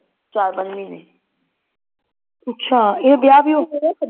ਚਾਰ ਪੰਜ ਮਹੀਨੇ ਅੱਛਾ ਇਹ ਵੀਆਹ ਵੀਊਹ ਹੋ ਗਿਆ